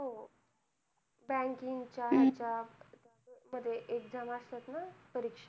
जागा असतात ना परीक्षा